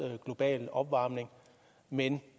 global opvarmning men